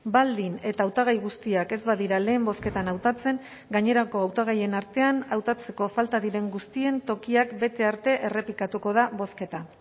baldin eta hautagai guztiak ez badira lehen bozketan hautatzen gainerako hautagaien artean hautatzeko falta diren guztien tokiak bete arte errepikatuko da bozketa